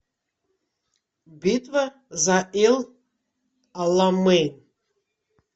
битва за эль аламейн